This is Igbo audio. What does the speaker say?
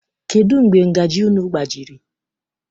Kedụ mgbe ngajị unu gbajiri?